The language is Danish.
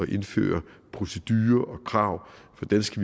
indføre procedurer og krav for danske